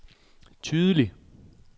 tydeligt